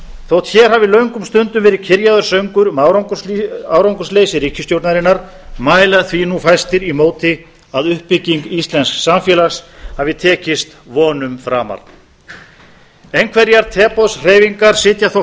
þótt hér hafi löngum stundum verið kyrjaður söngur um árangursleysi ríkisstjórnarinnar mæla því nú fæstir í móti að uppbygging íslensks samfélags hafi tekist vonum framar einhverjar teboðshreyfingar sitja þó